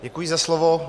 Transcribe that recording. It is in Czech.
Děkuji za slovo.